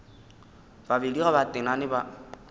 babedi ge ba tenane ba